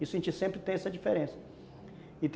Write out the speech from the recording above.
sempre tem essa diferença.